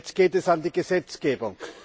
Jetzt geht es an die Gesetzgebung.